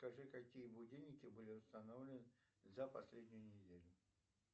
скажи какие будильники были установлены за последнюю неделю